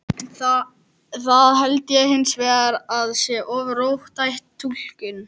Það held ég hins vegar að sé of róttæk túlkun.